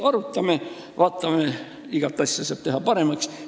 Arutame, vaatame: igat asja saab paremaks teha.